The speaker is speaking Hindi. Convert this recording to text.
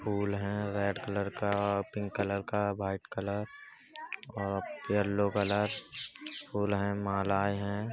फूल है रेड कलर का पिंक कलर का वाइट कलर और येलो कलर फूल है मालाएं हैं |